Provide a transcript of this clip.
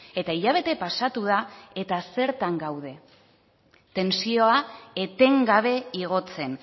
eta hilabete pasatu da eta zertan gaude tentsioa etengabe igotzen